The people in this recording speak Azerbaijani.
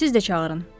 Siz də çağırın.